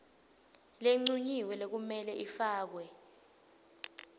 lencunyiwe lekumele ifakwe